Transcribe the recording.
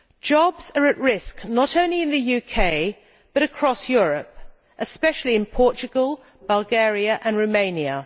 Jobs are at risk, not only in the UK, but across Europe, especially in Portugal, Bulgaria and Romania.